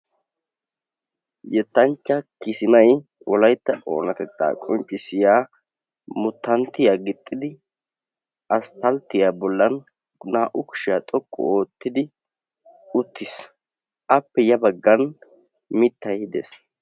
yettanchcha kisimay wolayitta oonatetaa qonccissiya muttanttiya gixxidi aspalttiya bollan naa'u kushiya xoqqu oottidi uttis. appe ya baggan mittay des.